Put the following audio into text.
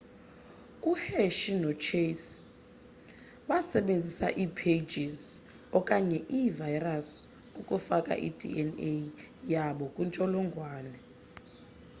u-hershey no-chase basebenzise ii-phages okanye ii-virus ukufaka i-dna yabo kwintsholongwane